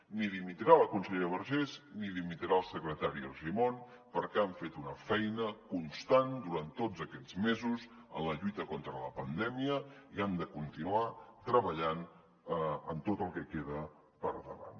ni dimitirà la consellera vergés ni dimitirà el secretari argimon perquè han fet una feina constant durant tots aquests mesos en la lluita contra la pandèmia i han de continuar treballant en tot el que queda per davant